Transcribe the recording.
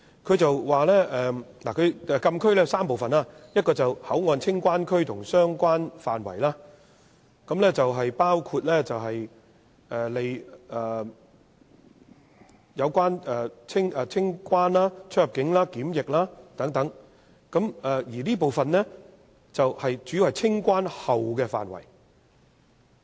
它說禁區有3部分，一個是口岸清關區和相關範圍，用作辦理清關、出入境和檢疫手續，而這部分主要是清關後的範圍。